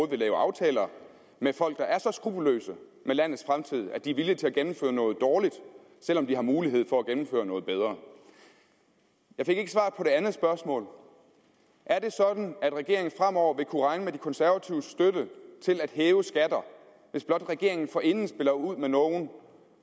vil lave aftaler med folk der er så skruppelløse med landets fremtid at de er villige til at gennemføre noget dårligt selv om de har mulighed for at gennemføre noget bedre jeg fik ikke svar på det andet spørgsmål er det sådan at regeringen fremover vil kunne regne med de konservatives støtte til at hæve skatter hvis blot regeringen forinden spiller ud med nogle